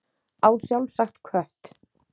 Á sjálfsagt kött.